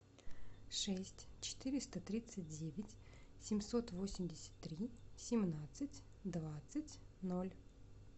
шесть четыреста тридцать девять семьсот восемьдесят три семнадцать двадцать ноль